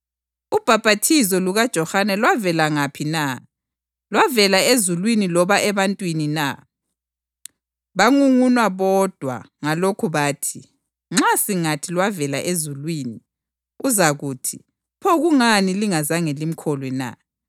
Ubhaphathizo lukaJohane lwavela ngaphi na? Lwavela ezulwini loba ebantwini na?” Bangunguna bodwa ngalokho bathi, “Nxa singathi, ‘Lwavela ezulwini,’ uzakuthi, ‘Pho kungani lingazange limkholwe na?’